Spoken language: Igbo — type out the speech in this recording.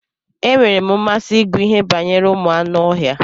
E nwere mmasị ịgụ ihe banyere ụmụ anụ ọhịa.